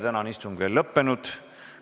Tänane istung ei ole veel lõppenud.